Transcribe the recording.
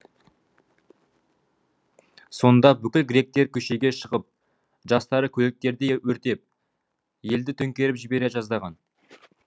сонда бүкіл гректер көшеге шығып жастары көліктерді өртеп елді төңкеріп жібере жаздаған